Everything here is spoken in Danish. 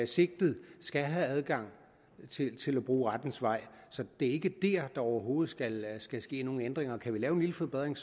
sigtet skal have adgang til at bruge rettens vej så det er ikke der at der overhovedet skal ske ske nogen ændringer og kan vi lave en lille forbedring